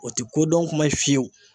O tɛ ko dɔn kuma ye fiyewu.